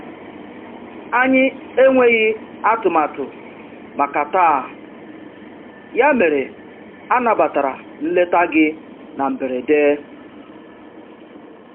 Anyị enweghị atụmatụ màkà taa, ya mere anabatara nleta gị na mberede.